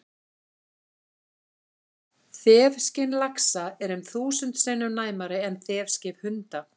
Þefskyn laxa er um þúsund sinnum næmara en þefskyn hunda!